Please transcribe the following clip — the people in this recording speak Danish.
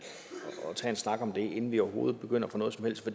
og tage en snak om det inden vi overhovedet begynder på noget som helst